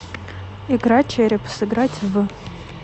игра череп сыграть в